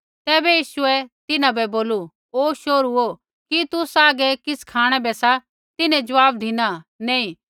तैबै यीशुऐ तिन्हां बै बोलू ओ शोहरुओ कि तुसा हागै किछ़ खाँणै बै सा तिन्हैं ज़वाब धिना नैंई